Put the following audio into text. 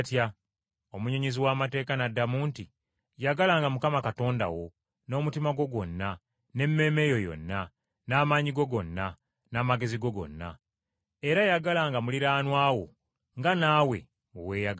Omunnyonnyozi w’amateeka n’addamu nti, “ ‘Yagalanga Mukama Katonda wo n’omutima gwo gwonna, n’emmeeme yo yonna, n’amaanyi go gonna, n’amagezi go gonna.’ Era ‘yagalanga muliraanwa wo nga naawe bwe weeyagala.’ ”